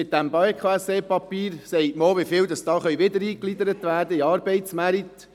Mit diesem BKSE-Papier sagt man auch, wie viele Personen hier wieder in den Arbeitsmarkt eingegliedert werden können.